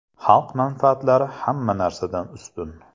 Xalq manfaatlari hamma narsadan ustun!